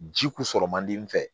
Ji kun sɔrɔ man di n fɛ